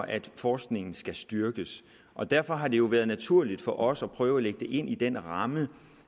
at forskningen skal styrkes og derfor har det jo været naturligt for os at prøve at lægge det ind i den ramme